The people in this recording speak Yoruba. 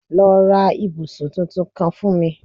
Lọ ra ibusun titun kan fun mi